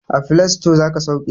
A filasito zaka sauke